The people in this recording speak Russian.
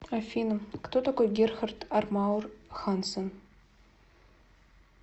афина кто такой герхард армауэр хансен